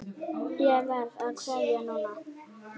Ég verð að kveðja núna.